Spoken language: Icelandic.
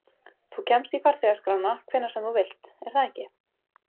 Þú kemst í farþegaskrána hvenær sem þú vilt, er það ekki?